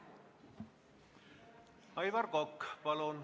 Aivar Kokk, palun!